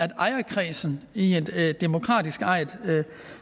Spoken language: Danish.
ejerkredsen i en demokratisk ejet